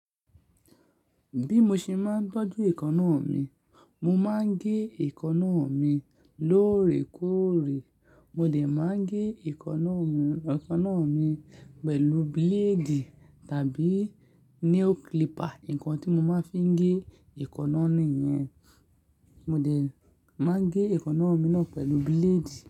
Bí mo ṣe máa ń tọ́jú èékánná mi, mo máa ń gé èékánná mi lóòrèkóòrè. Mo dẹ̀ máa ń gé èékánná mi, èékánná mi pẹ̀lú blade tàbí nail clipper, nǹkan tí mo máa fi ń gé èékánná ni yẹn. Mo lè máa gé èékánná mi náà pẹ̀lú blade.